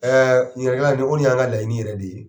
ni kɔni y'an ka laɲini yɛrɛ de ye.